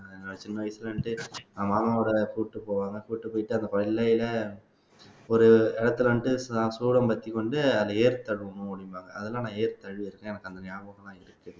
ஆஹ் சின்ன வயசுல இருந்தே மாமாவோட கூட்டிட்டு போவாங்க கூட்டிட்டு போயிட்டு ஒரு இடத்துல வந்துட்டு சூரம்பத்தி வந்து அதை ஏர் தழுவணும் அப்படிம்பாங்க அதெல்லாம் நான் ஏர் தழுவியிருக்கேன் எனக்கு அந்த ஞாபகம் எல்லாம் இருக்கு